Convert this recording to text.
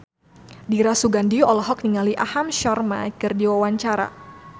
Dira Sugandi olohok ningali Aham Sharma keur diwawancara